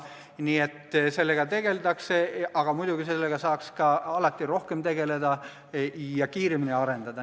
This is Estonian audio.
Nii et sellega tegeldakse, aga muidugi saaks sellega alati ka rohkem tegeleda ja tehnoloogiat kiiremini arendada.